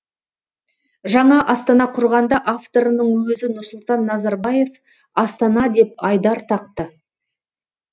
жаңа астана құрғанда авторының өзі нұрсұлтан назарбаев астана деп айдар тақты